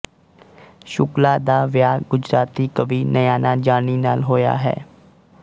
ਸ਼ੁਕਲਾ ਦਾ ਵਿਆਹ ਗੁਜਰਾਤੀ ਕਵੀ ਨਯਾਨਾ ਜਾਨੀ ਨਾਲ ਹੋਇਆ ਹੈ